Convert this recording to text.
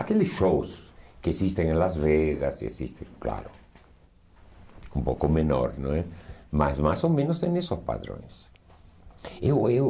Aqueles shows que existem em Las Vegas, existem claro, um pouco menor, não é? Mas mais ou menos é nesses padrões. Eu eu